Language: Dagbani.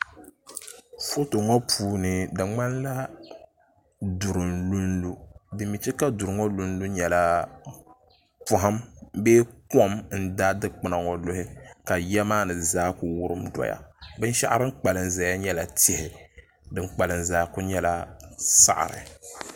Foto puuni di ŋmanila duri n lunlu din mii chɛ ka duri ŋɔ lunlu nyɛla poham bee kom n daai dikpuna ŋɔ luhi ka yiya maa ni zaa ku wurim doya binshaɣu din kpalim doya nyɛla tihi din kpalim zaa ku nyɛla saɣari